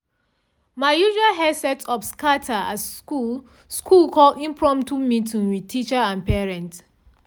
my usual hair setup scatter as school school call impromptu meeting with teacher and parent.